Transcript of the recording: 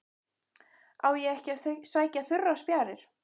Á ég ekki að sækja þurrar spjarir?